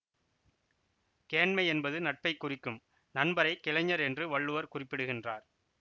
கேண்மை எனபது நட்பை குறிக்கும் நண்பரைக் கிளைஞர் என்று வள்ளுவர் குறிப்பிடுகின்றார்